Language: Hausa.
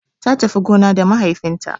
Ta tafi gona da mahaifin ta